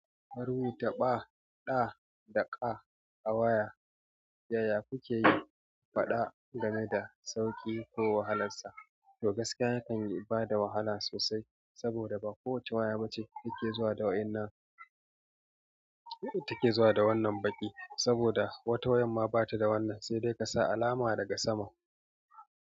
Marubu ta ɓa, ɗa da ƙa a waya, yaya kuke yi faɗa game da sauƙi ko wahalarsa? To gaskiya yakan yi bada wahala sosai. Saboda ba kowace waya bace take zuwa da waƴan nan take zuwa da wannan baƙi. Saboda wata wayar ma bata da wannan, sai dai kasa alama daga sama.